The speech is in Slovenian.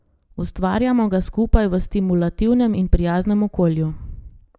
Ustvarjamo ga skupaj v stimulativnem in prijaznem okolju.